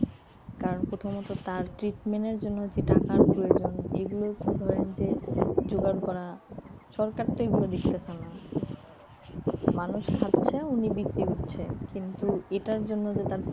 কারণ প্রথমত তার treatment এর জন্য যে টাকার প্রয়োজন এগুলো তো ধরেন যে জোগাড় করা সরকার তো এগুলো দেখতেছে না মানুষ খাচ্ছে উনি বিক্রি করছে কিন্তু এটার জন্য যে তার